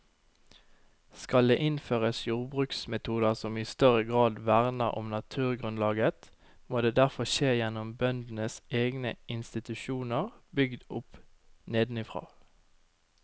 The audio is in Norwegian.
Skal det innføres jordbruksmetoder som i større grad verner om naturgrunnlaget, må det derfor skje gjennom bøndenes egne institusjoner bygd opp nedenfra.